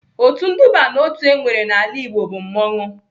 Otu nduba n'otu enwere n'ala Igbo bụ mmanwụ.